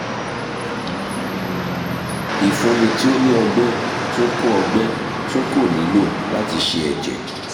ifunni ti o ni ọgbẹ tun ko ọgbẹ tun ko nilo lati ṣe ẹjẹ